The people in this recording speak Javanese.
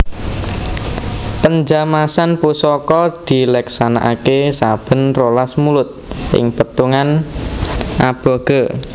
Penjamasan Pusaka dileksanakaké saben rolas Mulud ing pètungan aboge